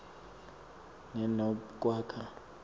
ne nobe kwakha